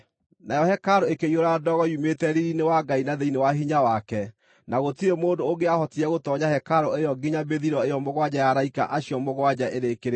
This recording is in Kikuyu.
Nayo hekarũ ĩkĩiyũra ndogo yumĩte riiri-inĩ wa Ngai na thĩinĩ wa hinya wake, na gũtirĩ mũndũ ũngĩahotire gũtoonya hekarũ ĩyo nginya mĩthiro ĩyo mũgwanja ya araika acio mũgwanja ĩrĩkĩrĩre.